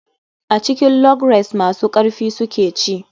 A cikin log race masu karfi su suke ci.